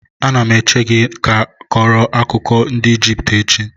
Anam eche ka a kọọrọ m akụkọ ndị Ijipt echi.